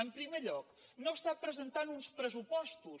en primer lloc no presenta uns pressupostos